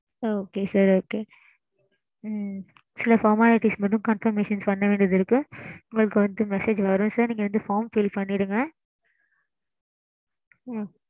ஆ சொல்லுங்க mam form fill ஆ பண்ணி